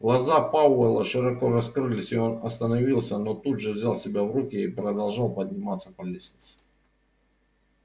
глаза пауэлла широко раскрылись и он остановился но тут же взял себя в руки и продолжал подниматься по лестнице